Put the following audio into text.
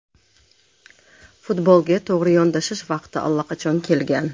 Futbolga to‘g‘ri yondashish vaqti allaqachon kelgan.